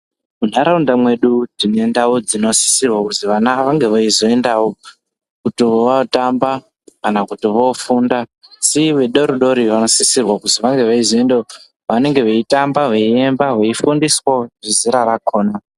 Munharaunda mwedu tine ndau dzinosisirwa kuzi vana vange veizoendawo kuti vootamba, kana kuti voofunda asi vadodori vanosisirwa kuti vange veizoendawo vange veitamba, veiemba, veifundiswawo zvezera rakhona.